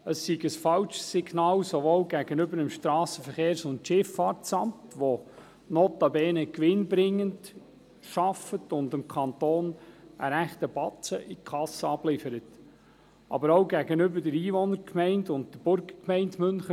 Es sei ein falsches Signal, sowohl gegenüber dem SVSA, das notabene gewinnbringend arbeitet und dem Kanton einen rechten Batzen in die Kasse abliefert, als auch gegenüber der Einwohnergemeinde und der Burgergemeinde Münchenbuchsee.